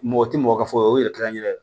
Mɔgɔ tɛ mɔgɔ ka fɔ o yɛrɛ kɛra an yɛrɛ ye